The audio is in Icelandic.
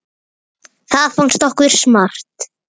Það fannst okkur smart.